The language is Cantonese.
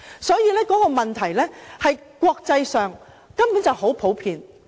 所以，這做法在國際上根本很普遍。